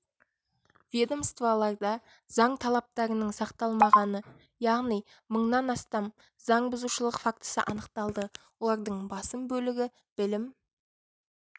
ведомстволарда заң талаптарының сақталмағаны яғни мыңнан астам заң бұзушылық фактісі анықталды олардың басым бөлігі білім